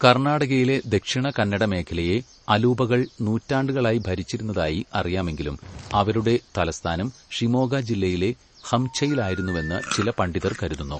കർണാടകയിലെ ദക്ഷിണകന്നഡമേഖലയെ അലൂപകൾ നൂറ്റാണ്ടുകളായി ഭരിച്ചിരുന്നതായി അറിയാമെങ്കിലും അവരുടെ തലസ്ഥാനം ഷിമോഗ ജില്ലയിലെ ഹംഛയിലായിരുന്നുവെന്ന് ചില പണ്ഡിതർ കരുതുന്നു.